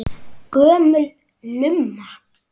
Hefur þessi áróður engin áhrif?